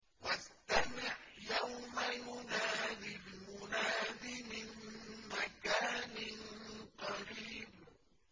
وَاسْتَمِعْ يَوْمَ يُنَادِ الْمُنَادِ مِن مَّكَانٍ قَرِيبٍ